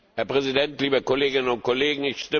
Herr Präsident, liebe Kolleginnen und Kollegen!